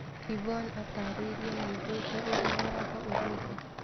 Yvonne atarĩirie nĩaigwĩte ũrĩw watho ũraiga.